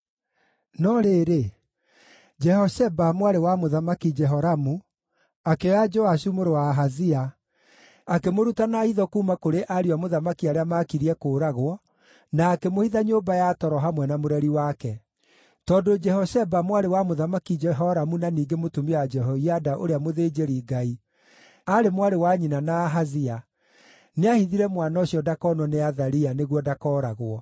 No rĩrĩ, Jehosheba, mwarĩ wa Mũthamaki Jehoramu, akĩoya Joashu mũrũ wa Ahazia akĩmũruta na hitho kuuma kũrĩ ariũ a mũthamaki arĩa maakirie kũũragwo, na akĩmũhitha nyũmba ya toro hamwe na mũreri wake. Tondũ Jehosheba, mwarĩ wa Mũthamaki Jehoramu na ningĩ mũtumia wa Jehoiada ũrĩa mũthĩnjĩri-Ngai, aarĩ mwarĩ wa nyina na Ahazia, nĩahithire mwana ũcio ndakonwo nĩ Athalia nĩguo ndakooragwo.